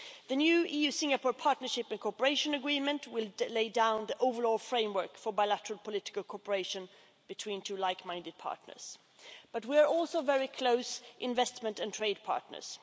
The new EU Singapore Partnership and Cooperation Agreement will lay down the overall framework for bilateral political cooperation between two like minded partners. But we are also very close investment and trade partners.